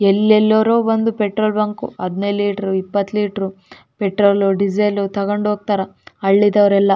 ಎಲ್ಲೆಲೋರೋ ಬಂದು petrol bunk ಹದಿನೈದು litre ಇಪ್ಪತ್ತು ಲೀಟರ್ ಪೆಟ್ರೋಲ್ ಡೀಸೆಲ್ ತಗೊಂಡು ಹೋಗ್ತಾರಾ ಹಳ್ಳಿದವ್ರರೆಲ್ಲಾ.